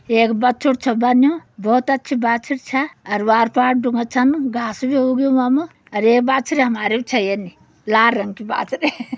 एक बच्छुड़ छ बनयुं। भौत अच्छि बाछुड़ छा। अर वार पर ढूँगा छन उ घास बि उग्यूं वा म। अर एक बाछुरि हमारी बी छ्य्या यनि। लार रंग कि बाछुरि।